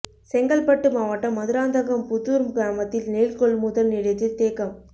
செங்கல்பட்டு மாவட்டம் மதுராந்தகம் புதூர் கிராமத்தில் நெல் கொள்முதல் நிலையத்தில் தேக்கம்